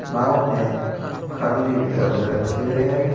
नाव में खाली डब्बे रखे हुए हैं।